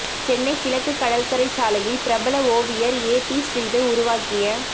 சென்னை கிழக்கு கடற்கரை சாலையில் பிரபல ஓவியர் ஏ பி ஸ்ரீதர் உருவாக்கிய